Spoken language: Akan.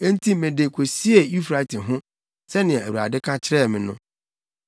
Enti mede kosiee Eufrate ho, sɛnea Awurade ka kyerɛɛ me no.